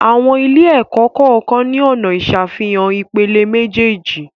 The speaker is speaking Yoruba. Àwọn ilé-ẹ̀kọ́ kọ́ọ̀kan ni ọna ìsàfihàn ìpele méjèèjì.